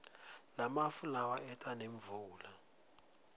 lamafu lawa eta nemvula